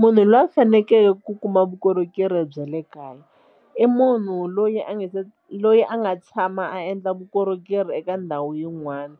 Munhu loyi a fanekele ku kuma vukorhokeri bya le kaya i munhu loyi a nga se loyi a nga tshama a endla vukorhokeri eka ndhawu yin'wana